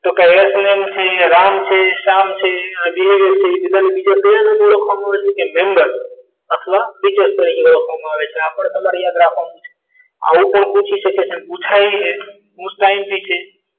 તો કઈ રામ છે શ્યામ છે એ બધાનો ઓળખવામાં આવે છે તો કે નંબર અથવા ટીચર તરીકે ઓળખવામાં આવે છે આ પણ તમારી યાદ રાખવાનું છે આ પણ પૂછી શકે છે અને પૂજાય છે most imp છે